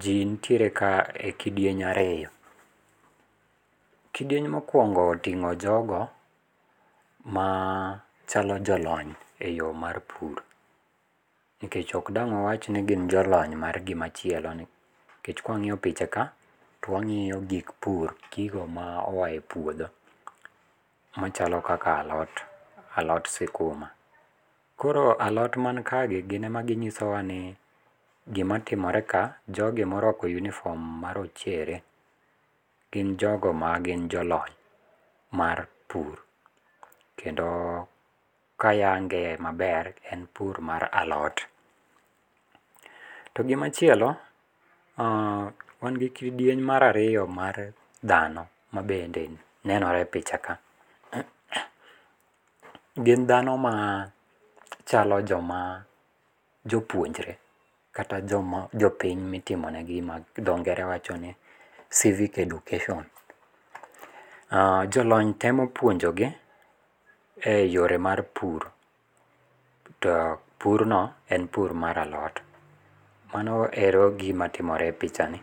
Ji nitiere ka e kidieny ariyo. Kidieny mokuongo otingo' jogo machalo jo lony e yo mar pur. Nikech ok dang' wawach ni gin jo lony mar gimachielo. Nikech kawang'yo pichaka to wangiyo gik pur, gigo ma oa e puodho machalo kaka alot. Alot sikuma. Koro alot man kae gi gine ma ginyiso wa ni gimatimore ka, jogi morwako uniform ma rochere gin jogo ma gin jolony mar pur. Kendo kayange maber en pur mar alot. To gimachielo wan gi kidieny mar ariyo mar dhano mabende nenore e pichaka. Gin dhano ma chalo joma jopuonjre kata jopiny mitimonegi gi dho ngere wacho ni civic education. Jo lony temo puonjogi e yore mar pur to pur no en pur mar alot. Mano ero e gima timore e picha ni.